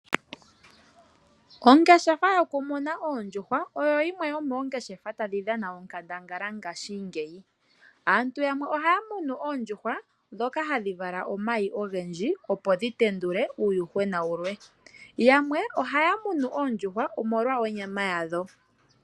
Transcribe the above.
Ongeshefa yokumuna oondjuhwa oyo yimwe yomoongeshefa tadhi dhana onkandangala ngaashingeyi. Aantu yamwe ohaya munu oondjuhwa ndhoka hadhi vala omayi ogendji, opo dhi tendule uuyuhwena wulwe. Yamwe ohaya munu oondjuhwa, omolwa onyama yadho.